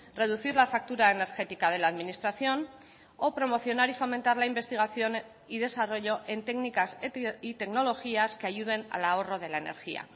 reducir la factura energética de la administración o promocionar y fomentar la investigación y desarrollo en técnicas y tecnologías que ayuden al ahorro de la energía